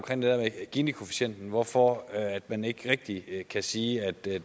der med ginikoefficienten altså hvorfor man ikke rigtig kan sige at det